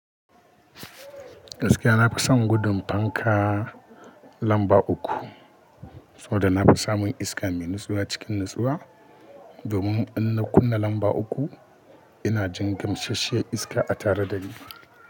Gaskiya na fi son gudun fanka lamba uku, saboda na fi samun iska mai nutsuwa cikin nutsuwa. Domin in na kunna lamba uku, ina jin gamsasshiyar iska a tare da ni.